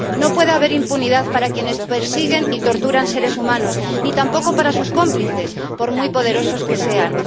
No puede haber impunidad para quienes persiguen y torturan a seres humanos ni tampoco para sus cómplices, por muy poderosos que sean.